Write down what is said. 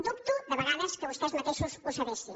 dubto de vegades que vostès mateixos ho sabessin